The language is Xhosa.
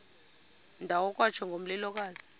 ndawo kwatsho ngomlilokazi